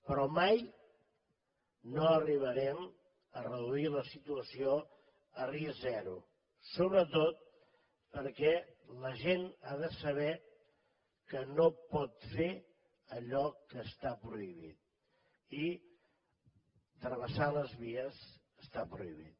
però mai no arribarem a reduir la situació a risc zero sobretot perquè la gent ha de saber que no pot fer allò que està prohibit i travessar les vies està prohibit